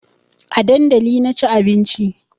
A dandali na ci abinci